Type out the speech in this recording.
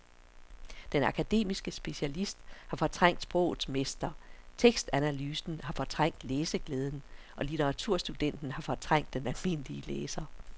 Den akademiske specialist har fortrængt sprogets mester, tekstanalysen har fortrængt læseglæden og litteraturstudenten har fortrængt den almindelige læser.